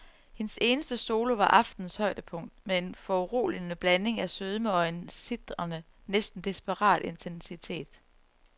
Hendes eneste solo var aftenens højdepunkt med en foruroligende blanding af sødme og en sitrende, næsten desperat intensitet.